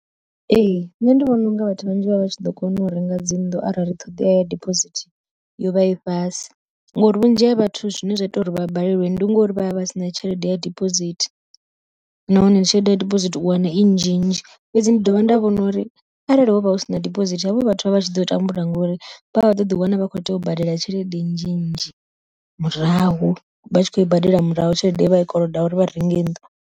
Ee nṋe ndi vhona unga vhathu vhanzhi vha vha tshi ḓo kona u renga dzi nnḓu arali ṱhoḓea ya diphosithi yo vha i fhasi, ngori vhunzhi ha vhathu zwine zwa ita uri vha balelwe ndi ngori vha vha si na tshelede ya dibosithi. Nahone tshelede ya dibosithi u wana i nzhinzhi fhedzi, ndi dovha nda vhona uri arali hovha hu si na diphosithi havho vhathu vha tshi ḓo tambula ngori vha ḓo ḓi wana vha khou ita u badela tshelede nzhinzhi murahu, vha tshi khou i badela murahu tshelede ye vha i koloda uri vha renge nnḓu.